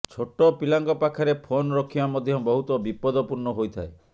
ଛୋଟ ପିଲାଙ୍କ ପାଖରେ ଫୋନ ରଖିବା ମଧ୍ୟ ବହୁତ ବିପଦପୂର୍ଣ୍ଣ ହୋଇଥାଏ